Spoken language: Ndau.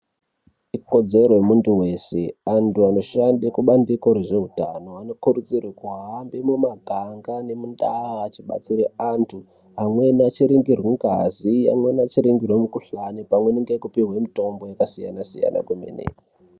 Ikodzero yemuntu weshe antu anoshanda kubandiko rezveutano vantu vanokurudzirwa kuhamba mumaganga nemundau achibatsira antu amweni achiningirwe ngazi amweni achiningirwe mukuhlani achipuhwa mitombo yakasiyana siyana kwemene.